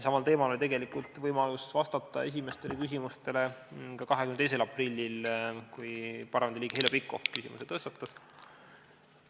Samal teemal oli tegelikult võimalus vastata esimestele küsimustele 22. aprillil, kui parlamendiliige Heljo Pikhof sellekohase küsimuse tõstatas.